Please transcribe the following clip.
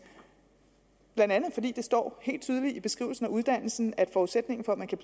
blandt andet står helt tydeligt i beskrivelsen af uddannelsen at forudsætningen for at man kan